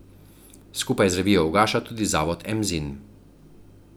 Skupaj z revijo ugaša tudi zavod Emzin.